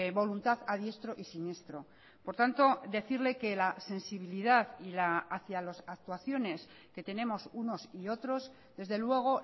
voluntad a diestro y siniestro por tanto decirle que la sensibilidad hacia las actuaciones que tenemos unos y otros desde luego